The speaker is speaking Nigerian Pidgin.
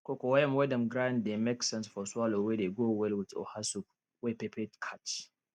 cocoyam wey dem grind dey make sense for swallow wey dey go well with oha soup wey pepper catch